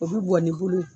O bɛ bɔn n'i bolo ye